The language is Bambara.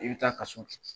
I bɛ taa kaso